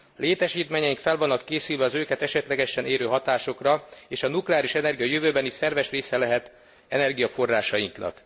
Létesítményeink fel vannak készülve az őket esetlegesen érő hatásokra, és a nukleáris energia a jövőben is szerves része lehet energiaforrásainknak.